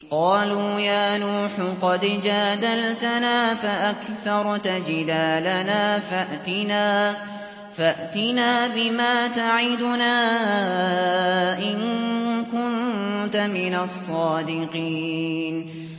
قَالُوا يَا نُوحُ قَدْ جَادَلْتَنَا فَأَكْثَرْتَ جِدَالَنَا فَأْتِنَا بِمَا تَعِدُنَا إِن كُنتَ مِنَ الصَّادِقِينَ